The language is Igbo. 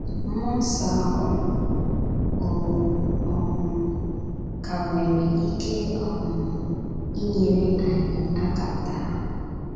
Mmụọ nsọ ahụ, ọ̀ um ka nwere ike um inyere anyị aka taa?